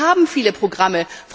Wir haben viele Programme.